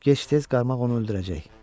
Gec-tez qarmaq onu öldürəcək.